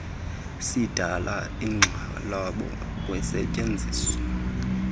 sidala inkxalabo kusetyenziso